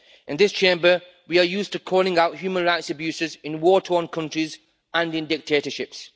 In this Chamber we are used to calling out human rights abuses in war torn countries and in dictatorships.